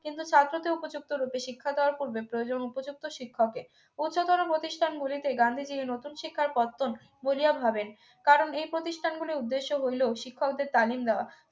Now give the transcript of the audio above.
কিন্তু ছাত্রকে উপযুক্ত রূপে শিক্ষা দেওয়ার পূর্বে প্রয়োজন উপযুক্ত শিক্ষকের উচ্চতর প্রতিষ্ঠানগুলিতে গান্ধীজি নতুন শিক্ষার পত্তন বুলিয়া ভাবেন কারণ এই প্রতিষ্ঠানগুলির উদ্দেশ্য হইল শিক্ষকদের তালিম দেওয়া